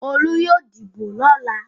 Olú yóò dìbò lọ́la.